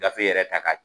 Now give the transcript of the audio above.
Gafe yɛrɛ ta ka